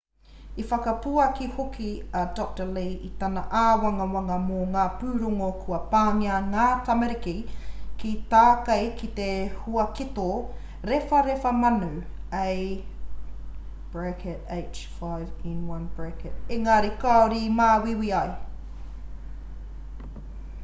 i whakapuaki hoki a dr. lee i tana āwangawanga mō ngā pūrongo kua pāngia ngā tamariki ki tākei ki te huaketo rewharewha manu ah5n1 engari kāore i māuiui ai